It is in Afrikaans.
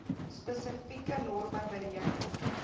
spesifieke norme bereken